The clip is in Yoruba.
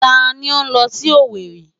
Ta ni ó ń lọ sí Owerri?